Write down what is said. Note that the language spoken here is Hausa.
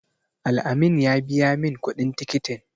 Al-amin ya biya min kuɗin tikitin.